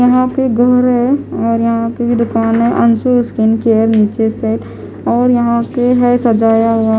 यहाँ पे घर है और यहाँ पे भी दुकान है अंशु स्किन केयर नीचे सेट और यहाँ पे है सजाया हुआ ।